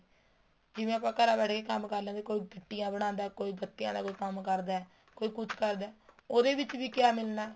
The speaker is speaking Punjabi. ਜਿਵੇਂ ਆਪਾਂ ਘਰਾਂ ਬੈਠਕੇ ਕੰਮ ਕਰ ਲੈਂਦੇ ਕੋਈ ਬਣਦਾ ਏ ਕੋਈ ਗੱਤੇ ਵਾਲਾ ਕੋਈ ਕੰਮ ਕਰਦਾ ਏ ਕੋਈ ਕੁੱਛ ਕਰਦਾ ਹੈ ਉਹਦੇ ਵਿੱਚ ਵੀ ਕਿਹਾ ਮਿਲਣਾ ਏ